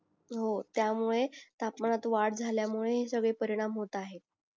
हो त्यामुळे तापमानात वाढ झाल्यामुळे हे सगळे परिणाम होत आहे